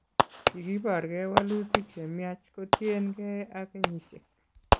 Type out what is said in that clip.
Kigobor gee walutik chemnyach kotien gee ak kenyisiek